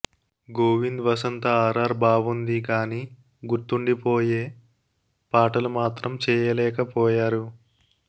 Govind Vasantha R R బావుంది గానీ గుర్తుండిపోయే పాటలు మాత్రం చేయలేకపోయారు